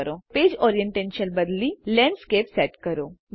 હવે પેજ ઓરીએન્ટેશનને બદલી લેન્ડસ્કેપ સેટ કરો